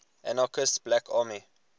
anarchist black army